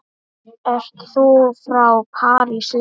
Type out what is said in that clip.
Ert þú frá París líka?